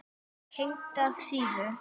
Tengdar síður